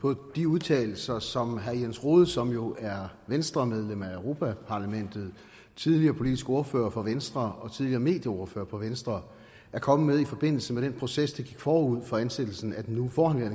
på de udtalelser som herre jens rohde som jo er venstremedlem af europa parlamentet tidligere politisk ordfører for venstre og tidligere medieordfører for venstre er kommet med i forbindelse med den proces der gik forud for ansættelsen af den nu forhenværende